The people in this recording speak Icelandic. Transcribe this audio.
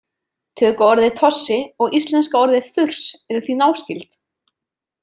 Tökuorðið tossi og íslenska orðið þurs eru því náskyld.